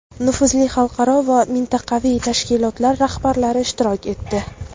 nufuzli xalqaro va mintaqaviy tashkilotlar rahbarlari ishtirok etdi.